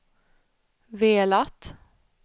velat